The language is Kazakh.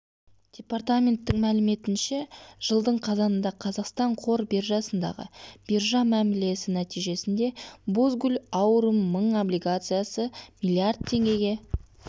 департаменттің мәліметінше жылдың қазанында қазақстан қор биржасындағы биржа мәмілесі нәтижесінде бозгуль аурум мың облигациясы миллиард теңгеге